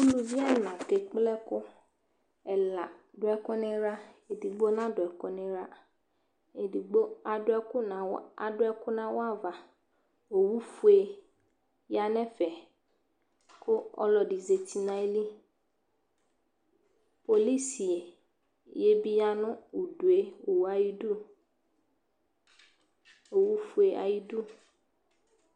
Uluvi ɛna kekple ɛkʋ Ɛla dʋ ɛkʋ nʋ ɩɣla Edigbo nadʋ ɛkʋ nʋ ɩɣla Edigbo adʋ ɛkʋ nʋ awa adʋ ɛkʋ nʋ awʋ ava Owufue ya nʋ ɛfɛ kʋ ɔlɔdɩ zati nʋ ayili Polisi yɛ bɩ ya nʋ udu yɛ, owu yɛ ayidu, owufue ayidu